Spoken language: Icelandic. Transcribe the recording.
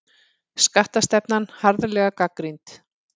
Skattastefnan harðlega gagnrýnd